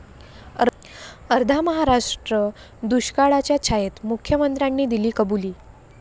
अर्धा महाराष्ट्र दुष्काळाच्या छायेत, मुख्यमंत्र्यांनी दिली कबुली